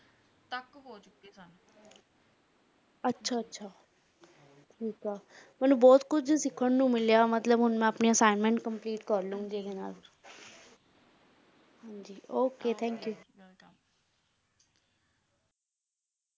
ਅੱਛਾ - ਅੱਛਾ, ਠੀਕ ਹੈ ਮੈਨੂੰ ਬਹੁਤ ਕੁੱਝ ਸਿੱਖਣ ਨੂੰ ਮਿਲਿਆ, ਮਤਲੱਬ ਹੁਣ ਮੈਂ ਆਪਣੀ assignment complete ਕਰ ਲੂੰਗੀ okthankyou